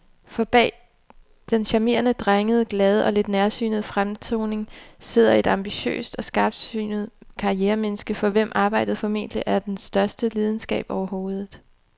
For bag den charmerende, drengede, glade og lidt nærsynede fremtoning sidder et ambitiøst og skarpsynet karrieremenneske, for hvem arbejdet formentlig er den største lidenskab overhovedet.